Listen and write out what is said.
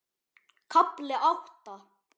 KAFLI ÁTTA